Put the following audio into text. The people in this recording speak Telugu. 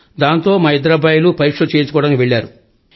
కాంతో మా ఇద్దరు అబ్బాయిలు పరీక్షలు చేయించుకోవడానికి వెళ్లారు